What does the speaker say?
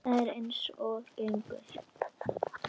Það er eins og gengur.